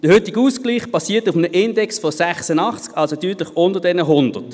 Der heutige Ausgleich basiert auf einem Index von 86, liegt also deutlich unter diesen 100.